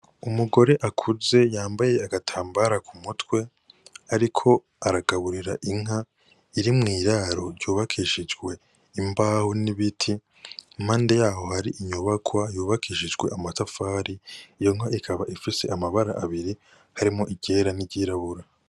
Umugore akuze yambaye agatambara ku mutwe, ariko aragaburira inka iri mw'iraro ryubakishijwe imbahu n'ibiti mpande yaho hari inyubakwa yubakishijwe amatafari iyo nka ikaba ifise amabara abiri harimo igera n'iryirabura.